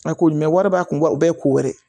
A ko jumɛn wari b'a kun o bɛɛ ye ko wɛrɛ ye